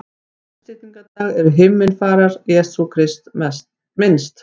Á uppstigningardag er himnafarar Jesú Krists minnst.